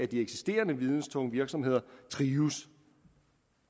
de eksisterende videnstunge virksomheder trives